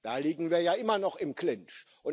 Da liegen wir ja immer noch im Clinch.